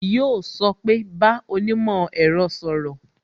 Yo sọ pé "bá onímò ẹ̀rọ sọ̀rọ̀